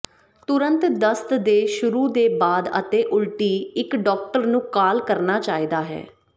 ਤੁਰੰਤ ਦਸਤ ਦੇ ਸ਼ੁਰੂ ਦੇ ਬਾਅਦ ਅਤੇ ਉਲਟੀ ਇੱਕ ਡਾਕਟਰ ਨੂੰ ਕਾਲ ਕਰਨਾ ਚਾਹੀਦਾ ਹੈ